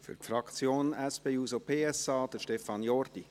Für die SP-JUSO-PSA-Fraktion, Stefan Jordi.